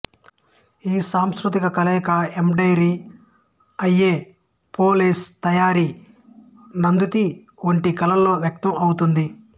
ఈ సాంస్కృతిక కలయిక ఎంబ్రాయిడరీ అయో పో లేస్ తయారీ నందుతి వంటి కళలలో వ్యక్తం ఔతుంది